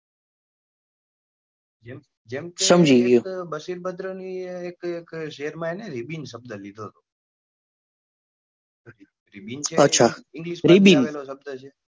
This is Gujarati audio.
જેમ કે એક બશીદ્બર્દ ની એક શેર માં એને ribon શબ્દ લીધો હતો અને ribon છે